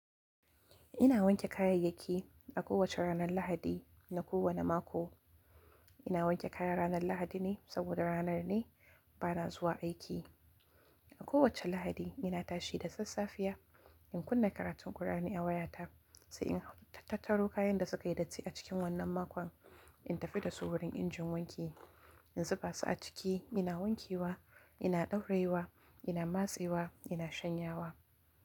Ina wanke kayayyaki a kowace ranar Lahadi na kowane mako. Ina wanke kaya ranar Lahadi ne saboda ranar ne ba na zuwa aiki. A kowace Lahadi ina tashi da sassafiya in kunna karatun ƙur'ani a wayata sai in tattaro kayan da suka yi datti a cikin wannan makon in tafi da su wurin injin wanki. In zuba su a ciki ina wankewa, ina ɗauraiwa, ina matsewa, ina shanyawa.